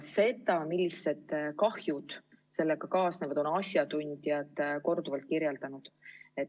Seda, millised kahjud sellega kaasnevad, on asjatundjad korduvalt kirjeldanud.